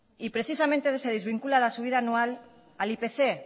y precisamente se desvincula la subida anual al ipc